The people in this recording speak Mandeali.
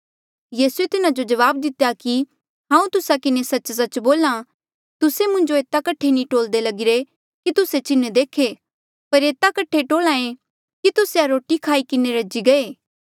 यीसूए तिन्हा जो जवाब दितेया कि हांऊँ तुस्सा किन्हें सच्च सच्च बोल्हा तुस्से मुंजो एता कठे नी टोल्दे कि तुस्से चिन्ह देखे पर एता कठे टोल्हा ऐें कि तुस्से रोटिया खाई किन्हें रजी गये